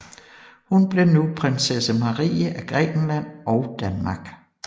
Hun blev nu Prinsesse Marie af Grækenland og Danmark